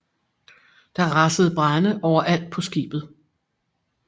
Der rasede brande overalt på skibet